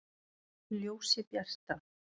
Ljósið bjarta!